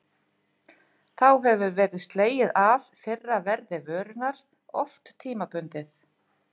Þá hefur verið slegið af fyrra verði vörunnar, oft tímabundið.